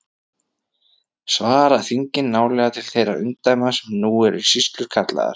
Svara þingin nálega til þeirra umdæma sem nú eru sýslur kallaðar.